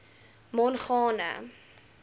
mongane